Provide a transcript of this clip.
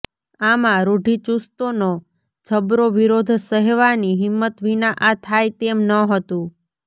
આમાં રૂઢિચુસ્તોનો જબરો વિરોધ સહેવાની હિંમત વિના આ થાય તેમ ન હતું